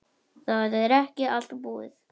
Það er ekki allt búið.